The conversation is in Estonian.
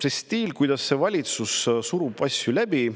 See stiil, kuidas valitsus surub asju läbi ...